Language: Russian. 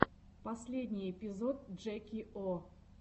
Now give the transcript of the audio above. последний эпизод джеки о